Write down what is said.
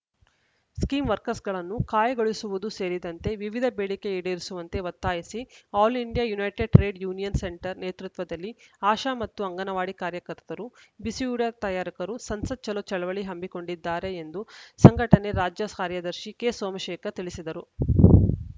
scheme ವರ್ಕರ್‍ಸ್ಗಳನ್ನು ಕಾಯಗೊಳಿಸುವುದೂ ಸೇರಿದಂತೆ ವಿವಿಧ ಬೇಡಿಕೆ ಈಡೇರಿಸುವಂತೆ ಒತ್ತಾಯಿಸಿ all India united trade union centre ನೇತೃತ್ವದಲ್ಲಿ ಆಶಾ ಮತ್ತು ಅಂಗನವಾಡಿ ಕಾರ್ಯಕರ್ತರು ಬಿಸಿಯೂಟ ತಯಾರಕರು ಸಂಸತ್‌ ಚಲೋ ಚಳವಳಿ ಹಮ್ಮಿಕೊಂಡಿದ್ದಾರೆ ಎಂದು ಸಂಘಟನೆ ರಾಜ್ಯ ಕಾರ್ಯದರ್ಶಿ ಕೆಸೋಮಶೇಖರ ತಿಳಿಸಿದರು